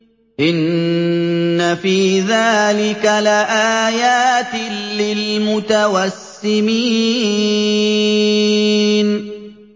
إِنَّ فِي ذَٰلِكَ لَآيَاتٍ لِّلْمُتَوَسِّمِينَ